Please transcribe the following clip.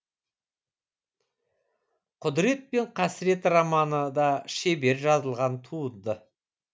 құдірет пен қасірет романы да шебер жазылған туынды